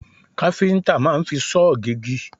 Káfíńtà máa ń fi sọ́ọ̀ gégi